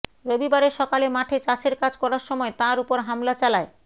রবিবারের সকালে মাঠে চাষের কাজ করার সময় তাঁর ওপর হামলা চালায়